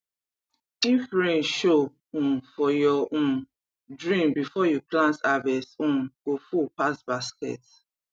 if rain show um for your um dream before you plant harvest um go full pass basket